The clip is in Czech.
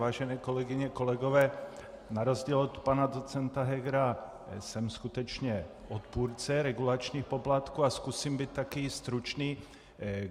Vážené kolegyně a kolegové, na rozdíl od pana docenta Hegera jsem skutečně odpůrce regulačních poplatků a zkusím být také stručný.